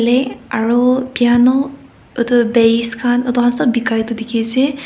aru piano etu bass khan etu khan sop bikai tu dikhi ase.